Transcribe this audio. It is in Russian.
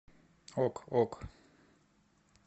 ок ок